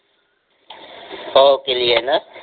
हो केलि आहे न